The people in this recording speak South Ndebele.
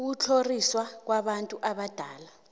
ukutlhoriswa kwabantu abadala